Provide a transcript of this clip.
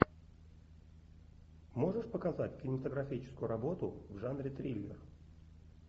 можешь показать кинематографическую работу в жанре триллер